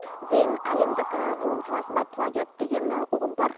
зейін әлемдік ғылым саласында плагиат деген ұғым бар